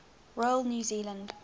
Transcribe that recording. royal new zealand